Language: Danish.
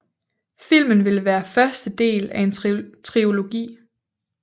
Filmen ville være første del af en trilogi